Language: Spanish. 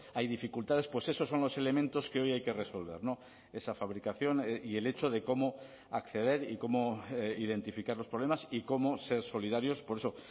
hay dificultades pues esos son los elementos que hoy hay que resolver esa fabricación y el hecho de cómo acceder y cómo identificar los problemas y cómo ser solidarios por eso